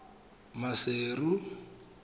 maseru